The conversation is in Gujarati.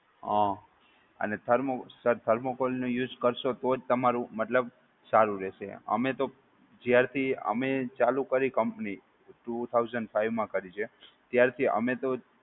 હાં અને thermocol નો use કરશો તોજ તમારુ મતલબ સારું રહશે. અમે તો જ્યારથી અમે ચાલુ કરી company two thousand five મા કરી છે. ત્યારથી અમે તો.